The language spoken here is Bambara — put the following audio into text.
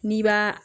N'i b'a